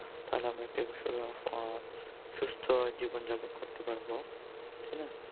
তালে আমরা আহ সুস্থ জীবন যাপন করতে পারব তাই না?